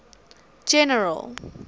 general